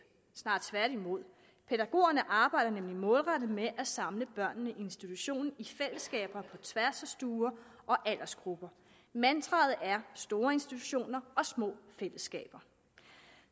snarere tværtimod pædagogerne arbejder nemlig målrettet med at samle børnene i institutionen i fællesskaber på tværs af stuer og aldersgrupper mantraet er store institutioner og små fællesskaber